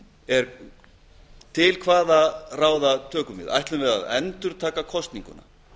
er til hvaða ráða tökum við ætlum við að endurtaka kosninguna